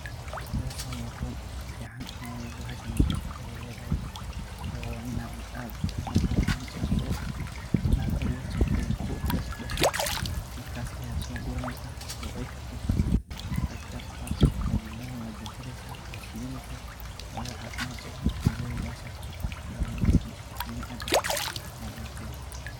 Hooshan wa hool fican, wayo bahashan, wa Inaat marki hori aar ku dashdashoo Aya so ku raneysahn, handanah wa jarjareysah , wa sheethaneysahn, wayo cafimad bathan Aya leedahay bahashan oo biniaadamka.